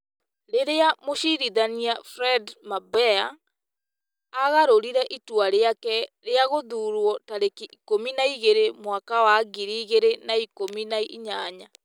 Rĩrĩa Mũcirithania Fred Mabeya aagarũrire itua rĩake rĩa gũthuurwo tarĩki ikũmi na igĩrĩ mwaka wa ngiri igĩrĩ na ikũmi na inyanya ,